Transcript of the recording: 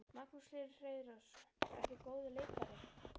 Magnús Hlynur Hreiðarsson: Ertu góður leikari?